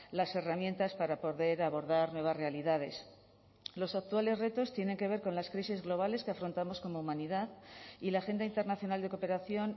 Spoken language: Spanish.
las herramientas para poder abordar nuevas realidades los actuales retos tienen que ver con las crisis globales que afrontamos como humanidad y la agenda internacional de cooperación